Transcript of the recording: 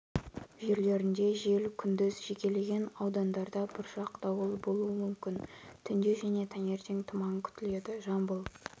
жерлерінде жел күндіз жекелеген аудандарда бұршақ дауыл болуы мүмкін түнде және таңертең тұман күтіледі жамбыл